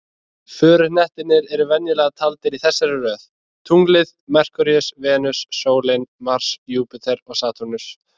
Föruhnettirnir eru venjulega taldir í þessari röð: Tunglið, Merkúríus, Venus, sólin, Mars, Júpíter og Satúrnus.